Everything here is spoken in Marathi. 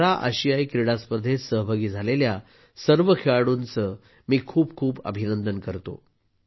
पॅरा आशियाई क्रीडा स्पर्धेत सहभागी झालेल्या सर्व खेळाडूंचे मी खूप खूप अभिनंदन करतो